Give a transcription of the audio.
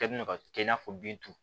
Ka bin ka kɛ i n'a fɔ bin turu